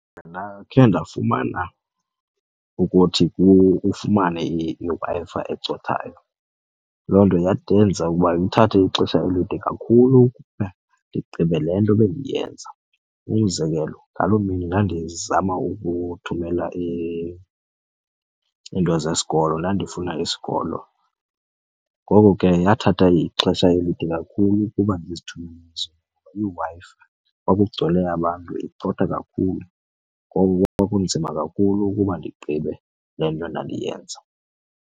Ndakhe ndafumana ukuthi ufumane iWi-Fi ecothayo loo nto yandenza ukuba ithathe ixesha elide kakhulu ukuba ndigqibe le nto bendiyenza. Umzekelo ngaloo mini ndandizama ukuthumela iinto zesikolo, ndandifuna isikolo ngoku ke yathatha ixesha elide kakhulu ukuba ndizithumele ezonto. IWi-Fi kwakugcwele abantu icotha kakhulu ngoko kwakunzima kakhulu ukuba ndigqibe le nto ndandiyenza.